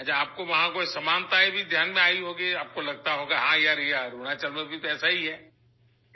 اچھا ، آپ کو وہاں کوئی یکسانیت بھی دھیان میں آئی ہوگی ، آپ کو لگا ہوگا کہ ہاں یار یہ تو اروناچل میں بھی ایسا ہی ہوتا ہے